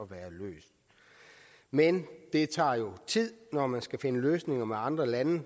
være løst men det tager jo tid når man skal finde løsninger med andre lande